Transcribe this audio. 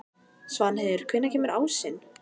Svanheiður, hvenær kemur ásinn?